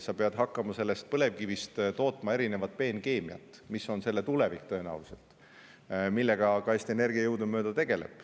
Sa pead hakkama põlevkivist tootma erinevat peenkeemiat, mis on selle tulevik tõenäoliselt ja millega ka Eesti Energia jõudumööda tegeleb.